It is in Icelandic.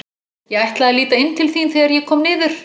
Ég ætlaði að líta inn til þín þegar ég kom niður.